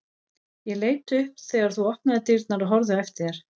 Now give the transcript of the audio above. Ég leit upp þegar þú opnaðir dyrnar og horfði á eftir þér.